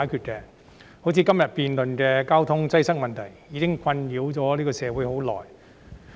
好像今天我們在此辯論的交通擠塞問題，已經困擾社會很長時間。